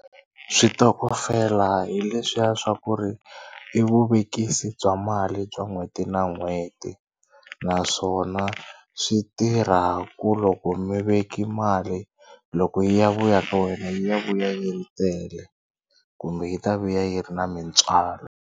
Switokofela hi leswiya swa ku ri i vuvekisi bya mali bya n'hweti na n'hweti naswona swi tirha ku loko mi veke mali loko yi ya vuya ka wena yi ya vuya yi tele kumbe yi ta vuya yi ri na mintswalo.